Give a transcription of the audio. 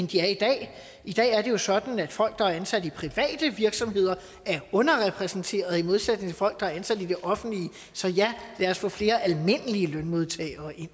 de er i dag i dag er det jo sådan at folk der er ansat i private virksomheder er underrepræsenteret i modsætning til folk der er ansat i det offentlige så ja lad os få flere almindelige lønmodtagere